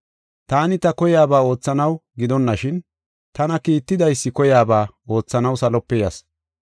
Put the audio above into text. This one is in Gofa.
Taani ta koyaba oothanaw gidonashin tana kiittidaysi koyaba oothanaw salope yas.